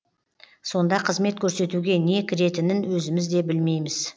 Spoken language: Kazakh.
сонда қызмет көрсетуге не кіретінін өзіміз де білмейміз